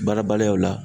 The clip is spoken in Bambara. Baara baliyaw la